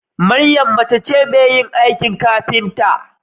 Mariam mace ce Mai yin aikin kafinta